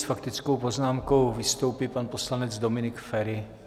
S faktickou poznámkou vystoupí pan poslanec Dominik Feri.